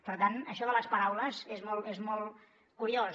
per tant això de les paraules és molt curiós